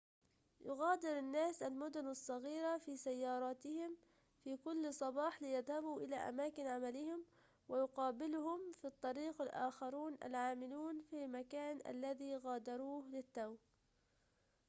يُغادر الناس المدن الصغيرة في سياراتهم في كل صباح ليذهبوا إلى أماكن عملهم ويقابلهم في الطريق الآخرون العاملون في المكان الذي غادروه للتو